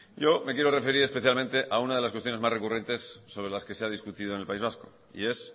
yo me quiero referir especialmente a una de las cuestiones más recurrentes sobre las que se ha discutido en el país vasco y es